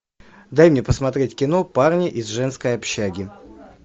дай мне посмотреть кино парни из женской общаги